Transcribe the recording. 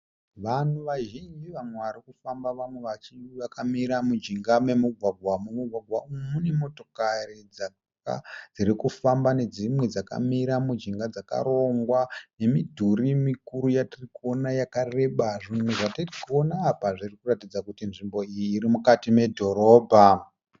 Vanhu vazhinji vamwe varikufamba vamwe vachi vakamira mujinga memugwagwa. Mumugwagwa umu mune motokari dzakawanda dzirikufamba nedzimwe dzakamira mujinga dzakarongwa . Nemidhuri mikuru yatiri kuona yakareba. Zvinhu zvatiri kuona apa zviri kuratidza kuti nzvimbo iyi irimukati medhorobha.